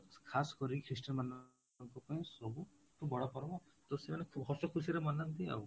ଖାସ କରି christian ମାନଙ୍କ ପାଇଁ ସବୁଠୁ ବଡ ପର୍ବ ତ ସେମାନେ ହସ ଖୁସିରେ ମନାନ୍ତି ଆଉ